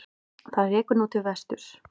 Það rekur nú til vesturs.